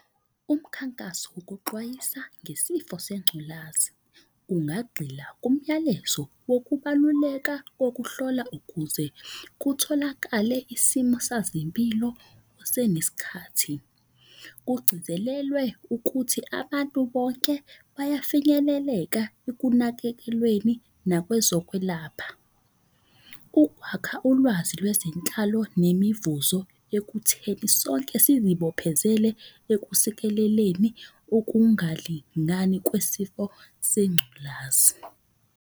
Umkhankaso wokuxwayisa ngesifo sengculazi. Ungagxila kumyalezo wokubaluleka kokuhlola ukuze kutholakale isimo sazempilo usenesikhathi. Kugcizelelwe ukuthi abantu bonke bayafinyeleleka ekunakekelweni nakwezokwelapha. Ukwakha ulwazi lwezinhlalo nemivuzo ekutheni sonke sizibophezele ekusikeleleni ukungalingani kwesifo sengculazi.